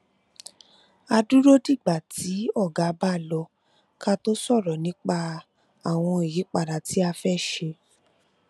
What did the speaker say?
a dúró dìgbà tí oga bá lọ ká tó sòrò nípa àwọn ìyípadà tá a fé ṣe